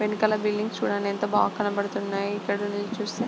వెనకాల బిల్డింగ్ చూడండి ఎంత బాగా కనపడుతున్నాయి. ఇక్కడి నుంచి చూస్తే--